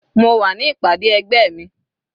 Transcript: Mo wà ní ìpàdé ẹgbẹ́ mi.